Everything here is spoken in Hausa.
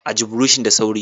Ajiye buroshin da sauri.